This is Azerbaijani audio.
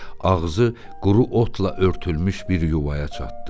Ağzı quru otla örtülmüş bir yuvaya çatdı.